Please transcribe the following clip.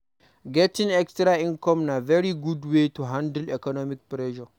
Getting extra income na very good wey to handle economic pressures